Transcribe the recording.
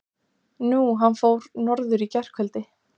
Nú. hann fór norður í gærkvöldi.